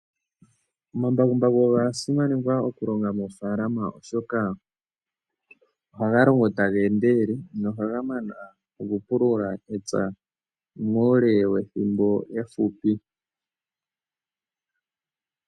Omambakumbaku oga simanekwa okulonga moofalama oshoka ohaga longo taga endelele go ohga mana okupulula epya uule wethimbo efupi.